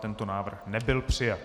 Tento návrh nebyl přijat.